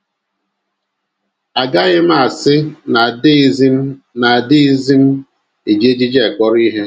Agaghị m asị na adịghịzi m na adịghịzi m eji ejiji akpọrọ ihe.